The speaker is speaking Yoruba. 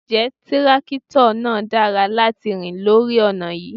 Ǹjẹ́ tírákítọ̀ náà dára láti rìn lórí ọ̀nà yí?